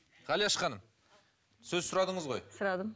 ғалияш ханым сөз сұрадыңыз ғой сұрадым